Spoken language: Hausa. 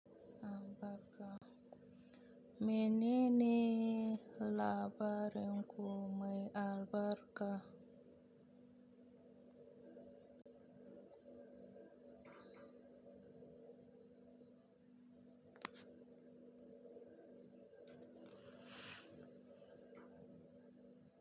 A barka. Menene labarin ku mai albarka?